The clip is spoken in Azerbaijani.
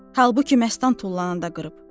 Halbuki məstan tullananda qırıb.